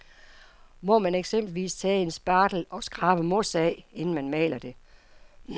Må man eksempelvis tage en spartel og skrabe mos af, inden man maler det.